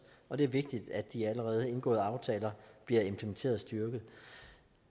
og det er vigtigt at de allerede indgåede aftaler bliver implementeret styrket